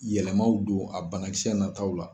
Yɛlɛmaw don a banakisɛ na taw la.